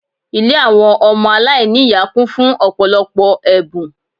Ilé àwọn ọmọ aláìní ìyá kún fún ọ̀pọ̀lọpọ̀ ẹ̀bùn